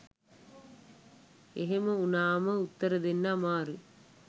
එහෙම උනාම උත්තර දෙන්න අමාරුයි